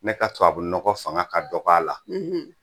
Ne ka tubabunɔgɔ fanga ka dɔgɔ a la